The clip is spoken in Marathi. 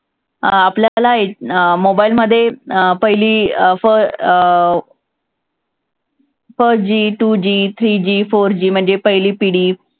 अं आपल्याला अं mobile मध्ये अं पहिली अं अं अं first G two G three G four G म्हणजे पहिली पिढी